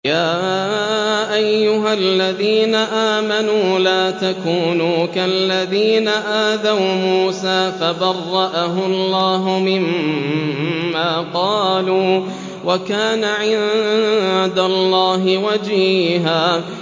يَا أَيُّهَا الَّذِينَ آمَنُوا لَا تَكُونُوا كَالَّذِينَ آذَوْا مُوسَىٰ فَبَرَّأَهُ اللَّهُ مِمَّا قَالُوا ۚ وَكَانَ عِندَ اللَّهِ وَجِيهًا